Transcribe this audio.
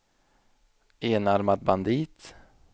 enarmad bandit